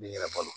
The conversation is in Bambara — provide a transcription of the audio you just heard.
N'i yɛrɛ balo